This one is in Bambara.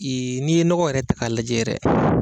Ee n'i ye nɔgɔ yɛrɛ ta 'a lajɛ yɛrɛ.